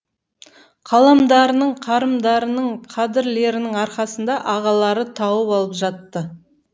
қаламдарының қарымдарының қадірлерінің арқасында ағалары тауып алып жатты